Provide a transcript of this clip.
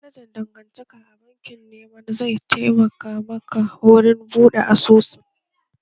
Manajan dangantaka a bankin wema zai taimaka maka wurin buɗe asusun